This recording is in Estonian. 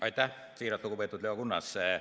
Aitäh, siiralt lugupeetud Leo Kunnas!